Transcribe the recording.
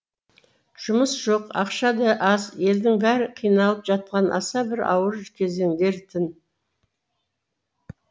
жұмыс жоқ ақша да аз елдің бәрі қиналып жатқан аса бір ауыр кезеңдер тін